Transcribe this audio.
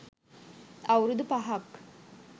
අවුරුදු පහක්.